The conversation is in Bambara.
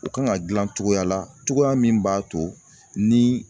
U kan ka gilan cogoya la, cogoya min b'a to ni